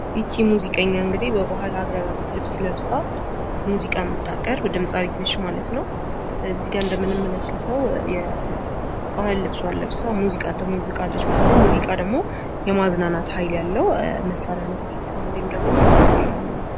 ይች ሙዚቀኛ እንግድህ በባህል አገር ልብስ ለብሳ ሙዚቃ የምታቀርብ ድምጻዊት ነች ማለት ነው። እዚህጋ እንደምንመለከተው የባህል ልብሷን ለብሳ ሙዚቃን ትሞዝቃለች ማለት ነው። ሙዚቃ ደግሞ የማዝናናት ሃይል ያለው መሳሪያ ነው። ወይም ደግሞ